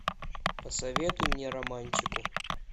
посоветуй мне романтику